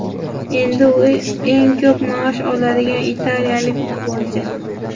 Endi u eng ko‘p maosh oladigan italiyalik futbolchi.